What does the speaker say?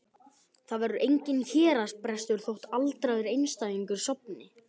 Það verður enginn héraðsbrestur þótt aldraður einstæðingur sofni burt.